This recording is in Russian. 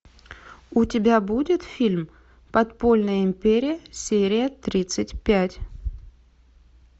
у тебя будет фильм подпольная империя серия тридцать пять